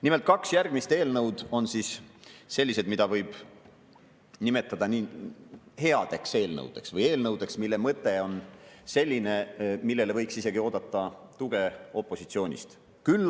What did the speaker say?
Nimelt, kaks järgmist eelnõu on sellised, mida võib nimetada headeks eelnõudeks ehk eelnõudeks, mille mõte on selline, millele võiks isegi oodata tuge opositsioonist.